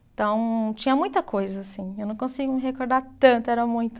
Então, tinha muita coisa assim, eu não consigo me recordar tanto, era muita.